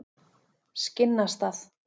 Skinnastað